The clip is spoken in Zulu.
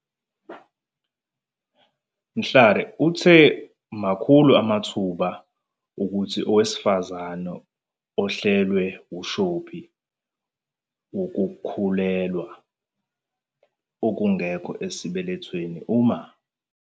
Mhlari uthe makhulu amathuba okuthi owesifazane ehlelwe wumshophi wokukhulelwa okungekho esibelethweni uma.